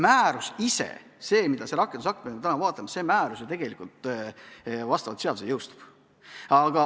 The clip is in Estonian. Määrus, see rakendusakt, mida me täna arutame, jõustub tegelikult vastavalt seadusele.